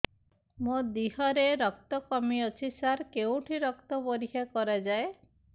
ମୋ ଦିହରେ ରକ୍ତ କମି ଅଛି ସାର କେଉଁଠି ରକ୍ତ ପରୀକ୍ଷା କରାଯାଏ